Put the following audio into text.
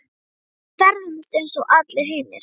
Við ferðumst eins og allir hinir.